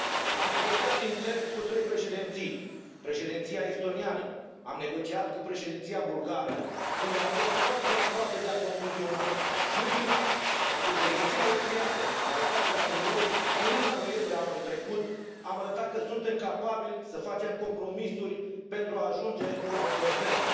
Am negociat intens cu trei președinții președinția estoniană, am negociat cu președinția bulgară, unde am fost foarte aproape de a concluziona și, în final, sub președinția austriacă, în al patrulea trilog, în luna noiembrie a anului trecut, am arătat că suntem capabili să facem compromisuri pentru a ajunge la un consens.